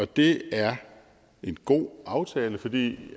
det er en god aftale fordi